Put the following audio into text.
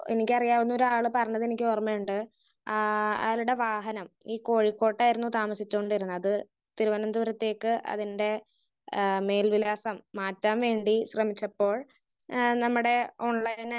Speaker 1 എനിക്കറിയാവുന്നൊരു ആള് പറഞ്ഞത് എനിക്ക് ഓർമയുണ്ട്. ആഹ് അയാളുടെ വാഹനം ഈ കോഴിക്കോട്ടായിരുന്നു താമിസിച്ചോണ്ടിരുന്നത്.തിരുവനന്തപുരത്തേക്ക് അതിന്റെ ആഹ് മേൽവിലാസം മാറ്റാൻ വേണ്ടി ശ്രമിച്ചപ്പോൾ ആഹ് നമ്മടെ ഓൺലൈൻ ആയിട്ട്